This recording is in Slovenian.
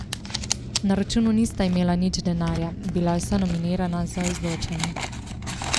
Na računu nista imela nič denarja, bila sta nominirana za izločanje.